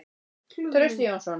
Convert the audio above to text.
Trausti Jónsson.